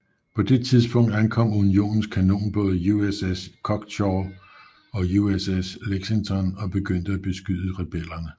På det tidspunkt ankom unionens kanonbåde USS Choctaw og USS Lexington og begyndte at beskyde rebellerne